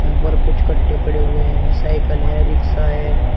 ऊपर कुछ कट्टे पड़े हुए हैं साइकल है रिक्शा है।